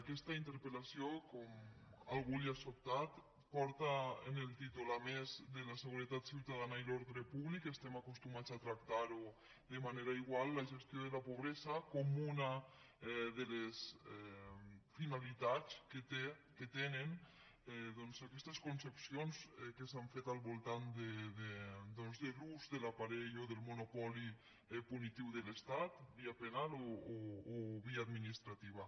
aquesta interpel·lació com a algú l’ha sobtat porta en el títol a més de la seguretat ciutadana i l’ordre públic que estem acostumats a tractar ho de manera igual la gestió de la pobresa com una de les finalitats que tenen doncs aquestes concepcions que s’han fet al voltant de l’ús de l’aparell o del monopoli punitiu de l’estat via penal o via administrativa